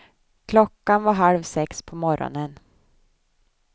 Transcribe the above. Klockan var halv sex på morgonen.